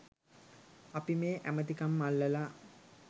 අපි මේ ඇමතිකම් අල්ලලා